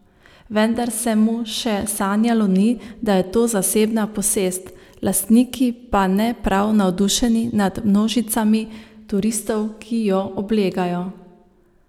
Vendar se mu še sanjalo ni, da je to zasebna posest, lastniki pa ne prav navdušeni nad množicami turistov, ki jo oblegajo.